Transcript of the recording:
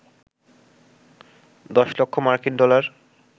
১০ লক্ষ মার্কিন ডলার